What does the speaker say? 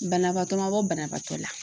Banabaatɔ man bɔ banabaatɔ la.